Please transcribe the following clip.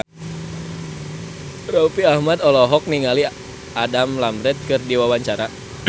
Raffi Ahmad olohok ningali Adam Lambert keur diwawancara